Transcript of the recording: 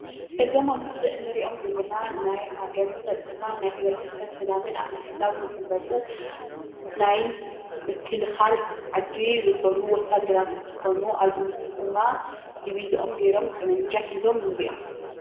እዞም ኣብ ምስሊ እንሪኦም ዘለና ናይ ሃገር ፀጥታን ናይ ሕብረተሰብ ሰላምን ኣብ ምሕላው ዝፍለጡ ናይ ምክልኻል ዓዲ ዝኾኑ ወታደራት እንትኾኑ ኣብዚ ምስሊ ድማ ድቪዘኦም ጌሮም ጠበንጃ ሒዞም ንሪኦም፡፡